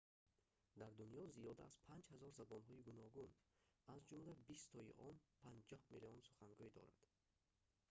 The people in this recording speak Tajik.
дар дунё зиёда аз 5 000 забонҳои гуногун аз ҷумла бистои он 50 миллион сухангӯй доранд